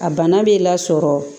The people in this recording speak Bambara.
A bana b'i lasɔrɔ